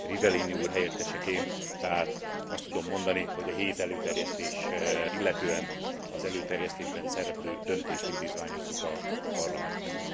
Rivellini úr helyetteseként tehát azt tudom mondani, hogy a hét előterjesztést illetően az előterjesztésben szereplő döntést indítványozzuk a Parlamentnél.